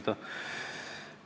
Tänan!